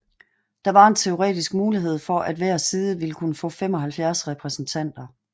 Der var en teoretisk mulighed for at hver side ville kunne få 75 repræsentanter